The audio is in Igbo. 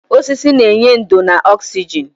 Osisi na-enye ndò na oxygen.